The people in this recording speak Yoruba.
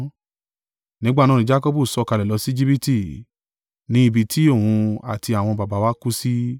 Nígbà náà ni Jakọbu sọ̀kalẹ̀ lọ sí Ejibiti, ní ibi tí òun àti àwọn baba wa kú sí.